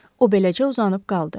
O beləcə uzanıb qaldı.